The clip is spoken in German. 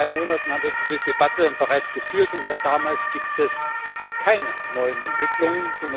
Vor drei Monaten haben wir diese Debatte bereits geführt, und seit damals gibt es keine neuen Entwicklungen.